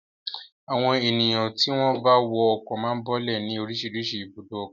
Àwọn ènìyàn tí wọ́n bá wọ ọkọ̀ máa ń bọ́lẹ̀ ní oríṣiríṣi ibùdó ọkọ̀.